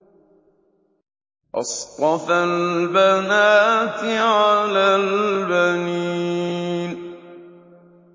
أَصْطَفَى الْبَنَاتِ عَلَى الْبَنِينَ